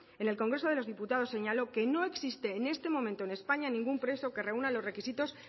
en el congreso de los diputados señaló que no existe en este momento en españa ningún preso que reúna los requisitos